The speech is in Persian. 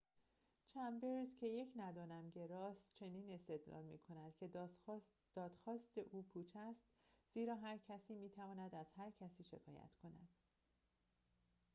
چمبرز که یک ندانم‌گراست چنین استدلال می‌کند که دادخواست او پوچ است زیرا هر کسی می‌تواند از هر کسی شکایت کند